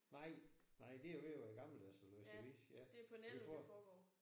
Nej. Nej det jo ved at være gammeldags at læse avis. Vi får